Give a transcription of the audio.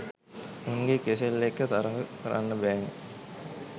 උන්ගේ කෙසෙල් එක්ක තරග කර්න්න බැහැ